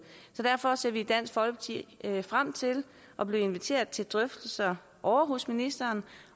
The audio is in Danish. så derfor ser vi i dansk folkeparti frem til at blive inviteret til drøftelser ovre hos ministeren